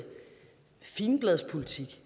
figenbladspolitik